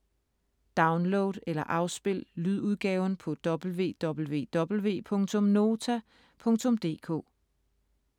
Download eller afspil lydudgaven på www.nota.dk